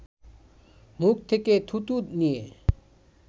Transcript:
মুখ থেকে থুথু নিয়ে